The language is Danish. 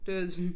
Det var sådan